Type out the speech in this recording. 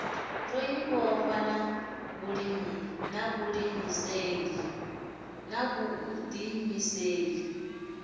ro ḓi vhofha na vhuḓiimiseli